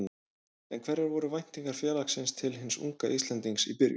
En hverjar voru væntingar félagsins til hins unga Íslendings í byrjun?